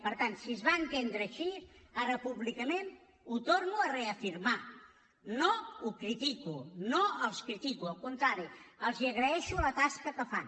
per tant si es va entendre així ara públicament ho torno a reafirmar no ho critico no els critico al contrari els agraeixo la tasca que fan